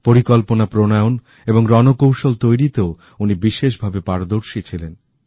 পরিকল্পনা প্রণয়ন এবংরণকৌশল তৈরিতেও উনি বিশেষভাবে পারদর্শী ছিলেন